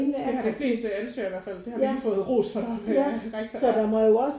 Det har de fleste ansøgere i hvert fald det har vi lige fået ros for af rektor ja